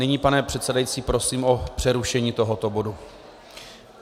Nyní, pane předsedající, prosím o přerušení tohoto bodu.